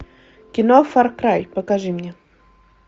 кино фар край покажи мне